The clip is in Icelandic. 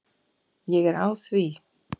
Ég er á því.